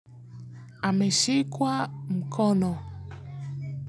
Ameshikwa mkono.